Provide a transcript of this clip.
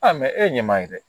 e ɲɛma ye dɛ